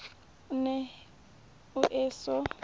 o ne o e so